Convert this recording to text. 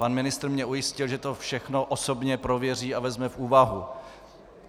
Pan ministr mě ujistil, že to všechno osobně prověří a vezme v úvahu.